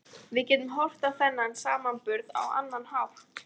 Við getum horft á þennan samburð á annan hátt.